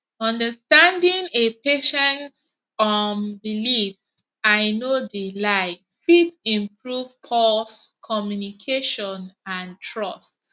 understanding a patients um beliefs i no de lie fit improve pause communication and trust